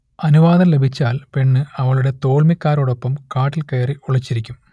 അനുവാദം ലഭിച്ചാൽ പെണ്ണ് അവളുടെ തോൾമിക്കാരോടൊപ്പം കാട്ടിൽകയറി ഒളിച്ചിരിക്കും